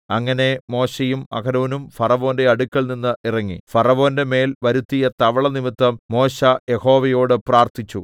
അങ്ങനെ മോശെയും അഹരോനും ഫറവോന്റെ അടുക്കൽനിന്ന് ഇറങ്ങി ഫറവോന്റെ മേൽ വരുത്തിയ തവള നിമിത്തം മോശെ യഹോവയോട് പ്രാർത്ഥിച്ചു